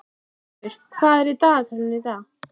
Karkur, hvað er í dagatalinu í dag?